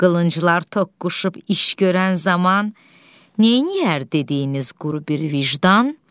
Qılınclar toqquşub iş görən zaman neyləyər dediyiniz quru bir vicdan?